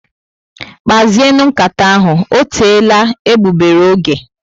Kpazienu nkata ahụ, ọ teela egbugbere ógè